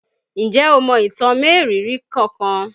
Ǹjẹ́ o mọ ìtàn mériìírí kankan?